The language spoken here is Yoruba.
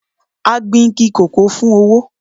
A gbìn igi kòkó fún owó.